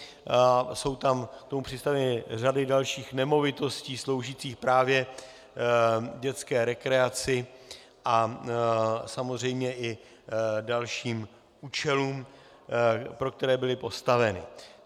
Jsou k tomu přistaveny řady dalších nemovitostí sloužících právě dětské rekreaci a samozřejmě i dalším účelům, pro které byly postaveny.